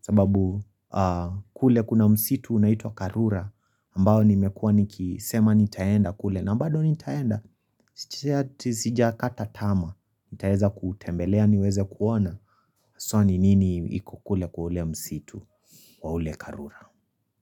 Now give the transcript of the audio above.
sababu kule kuna msitu unaitwa karura ambayo nimekuwa niki sema nitaenda kule na mbado nitaenda Sijakata tama nitaeza kutembelea niweze kuona haswa ni nini ikokule kwa ule msitu Kwa ule karura.